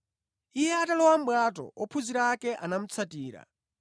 Iye atalowa mʼbwato, ophunzira ake anamutsatira.